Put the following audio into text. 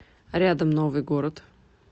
рядом новый город